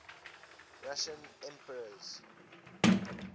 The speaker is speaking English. russian emperors